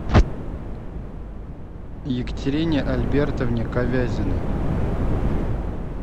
екатерине альбертовне ковязиной